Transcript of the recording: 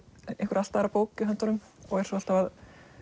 einhverja allt aðra bók í höndunum og er svo alltaf að